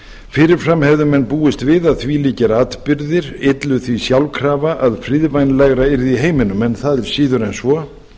fyrir fram hefðu menn búist við að þvílíkir atburðir öllu því sjálfkrafa að friðvænlegra yrði í heiminum en það er síður en svo